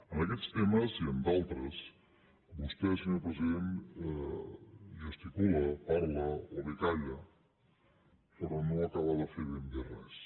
en aquests temes i en d’altres vostè senyor president gesticula parla o bé calla però no acaba de fer ben bé res